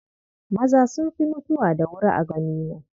Maza sun fi mutuwa da wuri a ganina.